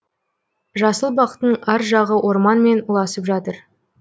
жасыл бақтың ар жағы орманмен ұласып жатыр